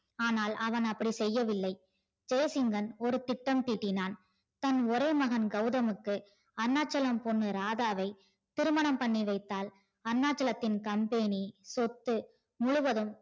ஆனால் அவன் அப்படி செய்யவில்லை ஜெசிங்கன் ஒரு திட்டம் தீட்டினான் தன் ஒரே மகன் கெளதமுக்கு அருணாச்சலம் பொண்ணு ராதாவை திருமணம் பண்ணி வைத்தால் அருணாச்சலத்தின் company சொத்து முழுவதும்